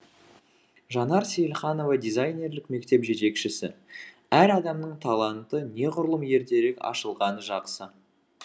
жанар сейілханова дизайнерлік мектеп жетекшісі әр адамның таланты неғұрлым ертерек ашылғаны жақсы